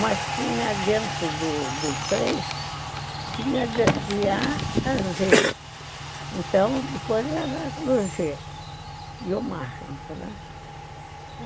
Mas tinha dentro do do do três, tinha de A a Z. Então, depois era no G. E o mais, entendeu?